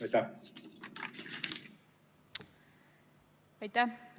Aitäh!